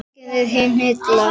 Nei, tæknin er hið illa.